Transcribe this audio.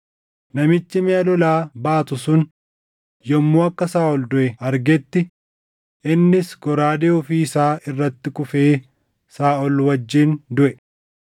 Namichi miʼa lolaa baatu sun yommuu akka Saaʼol duʼe argetti innis goraadee ofii isaa irratti kufee Saaʼol wajjin duʼe.